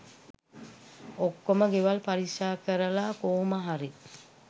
ඔකොම ගෙවල් පරික්ෂා කරලා කොහොම හරි